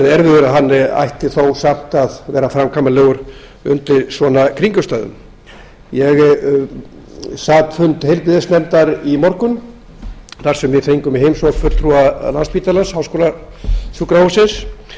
að hann verði erfiður ætti samt að vera framkvæmanlegur undir svona kringumstæðum ég sat fund heilbrigðisnefndar í morgun þar sem við fengum í heimsókn fulltrúa landspítala háskólasjúkrahúss og